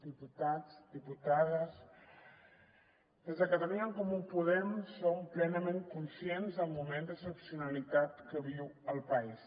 diputats diputades des de catalunya en comú podem som plenament conscients del moment d’excepcionalitat que viu el país